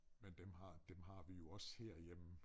Men dem har dem har vi jo også herhjemme